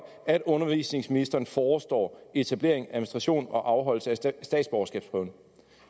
at undervisningsministeren forestår etablering administration og afholdelse af statsborgerskabsprøven